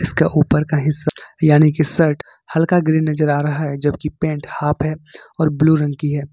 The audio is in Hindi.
इसका ऊपर का हिस्सा यानी की शर्ट हल्का ग्रीन नजर आ रहा है जबकि पेंट हाफ है और ब्लू रंग की है।